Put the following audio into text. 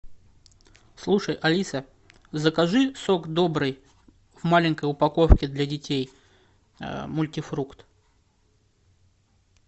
слушай алиса закажи сок добрый в маленькой упаковке для детей мультифрукт